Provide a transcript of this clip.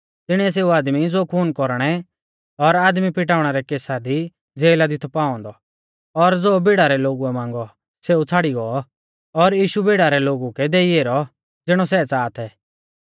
तिणीऐ सेऊ आदमी ज़ो खून कौरणै और आदमी पिटाउणा रै केसा दी ज़ेला दी थौ पाऔ औन्दौ और ज़ो भीड़ा रै लोगुऐ मांगौ सेऊ छ़ाड़ी गौ और यीशु भीड़ा रै लोगु कै देई ऐरौ ज़िणौ सै च़ाहा थै